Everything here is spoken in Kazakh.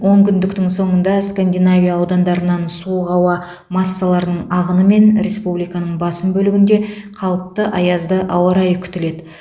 онкүндіктің соңында скандинавия аудандарынан суық ауа массаларының ағынымен республиканың басым бөлігінде қалыпты аязды ауа райы күтіледі